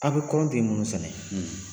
A be kɔri ni tigɛ munnu sɛnɛ